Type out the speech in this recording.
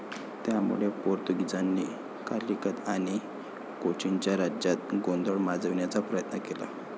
त्यामुळे पोर्तुगीजांनी कालिकत आणि कोचीनच्या राज्यात गोंधळ माजविण्याचा प्रयत्न केला.